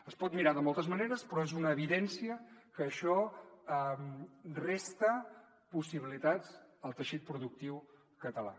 es pot mirar de moltes maneres però és una evidència que això resta possibilitats al teixit productiu català